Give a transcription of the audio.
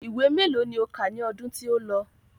Ìwé mélòó ni o kà ní ọdún tí ó lọ?